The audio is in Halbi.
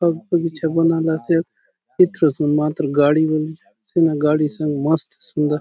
बाग बगीचा बनाला से इतरो सुंदर मात्र गाडी़ बले सीना गाड़ी से मस्त सुंदर --